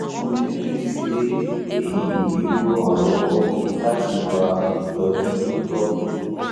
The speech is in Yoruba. mo nireti pe eyi yoo ran ọ lọwọ lati gba itọju to tọ